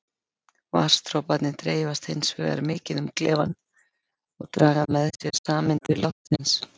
Vatnsdroparnir dreifast hins vegar mikið um klefann og draga með sér sameindir loftsins.